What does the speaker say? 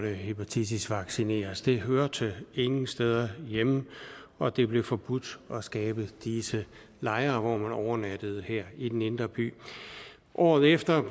hepatitisvaccineres det hørte ingen steder hjemme og det blev forbudt at skabe disse lejre hvor man overnattede her i den indre by året efter